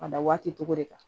A da waati togo de kan